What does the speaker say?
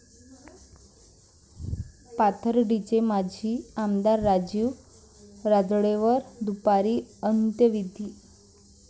पाथर्डीचे माजी आमदार राजीव राजळेंवर दुपारी अंत्यविधी